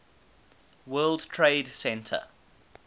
world trade center